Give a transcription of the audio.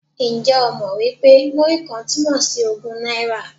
Ǹjẹ́ o mọ̀ wí pé Múrí-kan túmọ̀ sí ogún náírà?